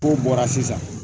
N'u bɔra sisan